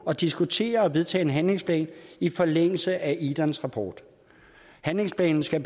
at diskutere og vedtage en handlingsplan i forlængelse af idans rapport handlingsplanen skal